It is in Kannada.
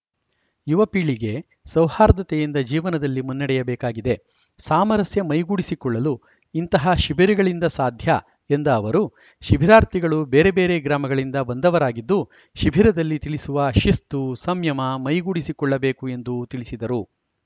ಯುವ ಪೀಳಿಗೆ ಸೌಹಾರ್ದತೆಯಿಂದ ಜೀವನದಲ್ಲಿ ಮುನ್ನಡೆಯ ಬೇಕಾಗಿದೆ ಸಾಮರಸ್ಯ ಮೈಗೂಡಿಸಿಕೊಳ್ಳಲು ಇಂತಹ ಶಿಬಿರಗಳಿಂದ ಸಾಧ್ಯ ಎಂದ ಅವರು ಶಿಬಿರಾರ್ಥಿಗಳು ಬೇರೆಬೇರೆ ಗ್ರಾಮಗಳಿಂದ ಬಂದವರಾಗಿದ್ದು ಶಿಬಿರದಲ್ಲಿ ತಿಳಿಸುವ ಶಿಸ್ತು ಸಂಯಮ ಮೈಗೂಡಿಸಿಕೊಳ್ಳಬೇಕು ಎಂದು ತಿಳಿಸಿದರು